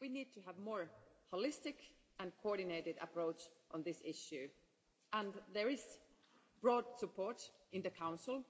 We need to have a more holistic and coordinated approach on this issue, and there is broad support in the Council